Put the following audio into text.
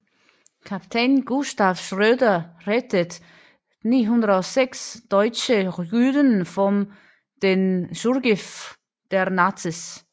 Kapitän Gustav Schröder rettet 906 deutsche Juden vor dem Zugriff der Nazis